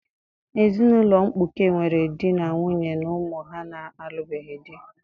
Ezinụlọ mkpuke nwere di na nwunye na ụmụ ha na-alụbeghị di.